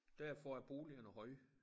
Derfor er boligerne høje